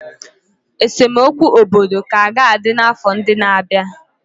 Esemokwu obodo ka ga-adị n'afọ ndị na-abịa.